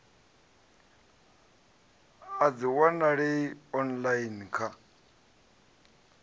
a dzi wanalei online kha